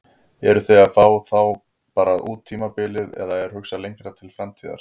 Eruð þið að fá þá bara út tímabilið eða er hugsað lengra til framtíðar?